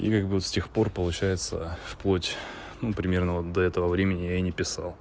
и как бы с тех пор получается в плоть ну примерно вот до этого времени я и не писал